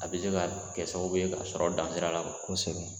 A bɛ se ka kɛ sababu ye ka sɔrɔ dan sira la kosɛbɛ.